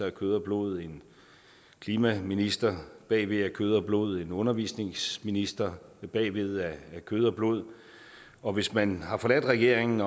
af kød og blod en klimaminister bagved af kød og blod en undervisningsminister bagved af kød og blod og hvis man har forladt regeringen